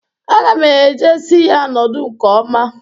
Aga m e je si ya nọdụ nke ọma.